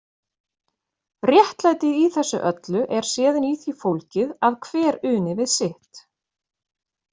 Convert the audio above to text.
Réttlætið í þessu öllu er síðan í því fólgið að hver uni við sitt.